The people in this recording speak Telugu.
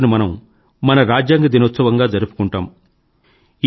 ఈ రోజును మనం మన రాజ్యాంగ దినోత్సవంగా జరుపుకుంటాము